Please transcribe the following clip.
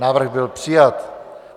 Návrh byl přijat.